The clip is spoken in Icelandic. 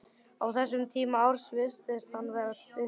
Á þessum tíma árs virtist alltaf vera dimmt.